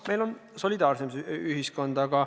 Meil on solidaarsem ühiskond.